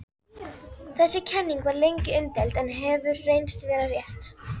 Þessi kenning var lengi umdeild en hefur reynst vera rétt.